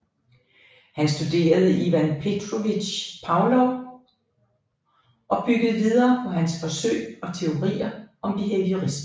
Han studerede Ivan Petrovich Pavlov og byggede videre på hans forsøg og teorier om behaviorisme